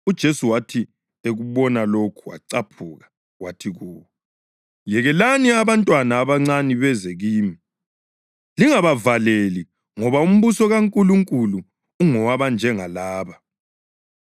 UJesu wathi ekubona lokho wacaphuka. Wathi kubo, “Yekelani abantwana abancane beze kimi, lingabavaleli, ngoba umbuso kaNkulunkulu ungowabanjengalaba.